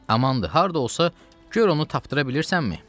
Amandır, harda olsa, gör onu tapdıra bilirsənmi?